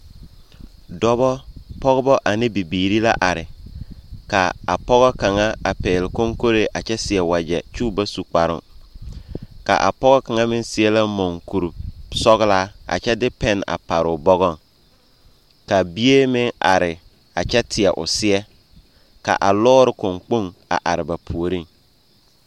Dɔbɔ, pɔgebɔ ane bibiiri la are. Ka apɔge kaŋa a pɛgele koŋkolee a kyɛ seɛ wagyɛ kyɛ o ba su kparooŋ. Ka a pɔge kaŋa meŋ seɛ la muŋkuri sɔgelaa a kyɛ de pɛne a pare o bɔgɔŋ. Ka bie meŋ are a kyɛ teɛ o seɛ ka lɔɔre kõɔkpoŋ a are ba puoriŋ.